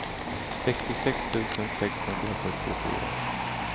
sextiosex tusen sexhundrasjuttiofyra